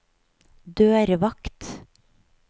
dørvakt